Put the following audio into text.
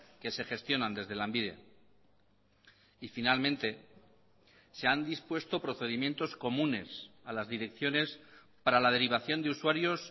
que se gestionan desde lanbide y finalmente se han dispuesto procedimientos comunes a las direcciones para la derivación de usuarios